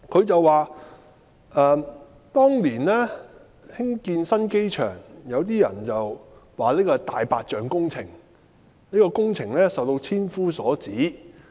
他說當年興建新機場，有些人說這是"大白象"工程，工程受到千夫所指。